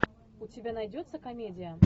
у тебя найдется комедия